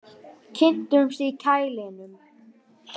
Kynntust í kælinum